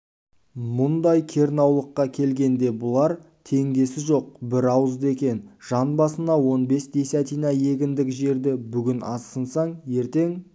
мұндай керенаулыққа келгенде бұлар тең десі жоқ бірауызды екен жан басына он бес десятина егіндік жерді бүгін аз сынсаң ертең